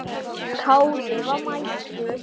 Kári var mættur!